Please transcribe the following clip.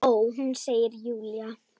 Ó, hún, segir Júlía.